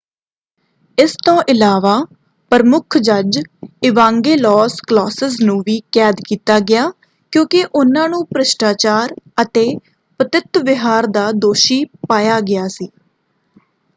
ਇਸ ਤੋਂ ਇਲਾਵਾ ਪ੍ਰਮੁੱਖ ਜੱਜ ਇਵਾਂਗੇਲੋਸ ਕਲੌਸਿਸ ਨੂੰ ਵੀ ਕੈਦ ਕੀਤਾ ਗਿਆ ਕਿਉਂਕਿ ਉਹਨਾਂ ਨੂੰ ਭ੍ਰਿਸ਼ਟਾਚਾਰ ਅਤੇ ਪਤਿਤ ਵਿਹਾਰ ਦਾ ਦੋਸ਼ੀ ਪਾਇਆ ਗਿਆ ਸੀ।